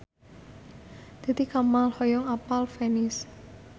Titi Kamal hoyong apal Venice